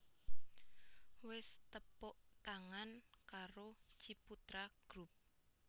Wis tepuk tangan karo Ciputra Group